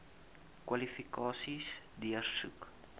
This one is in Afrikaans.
kwalifikasies deursoek